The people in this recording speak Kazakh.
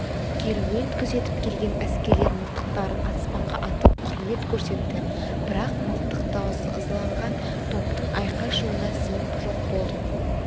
керуен күзетіп келген әскерлер мылтықтарын аспанға атып құрмет көрсетті бірақ мылтық даусы ызаланған топтың айқай-шуына сіңіп жоқ болды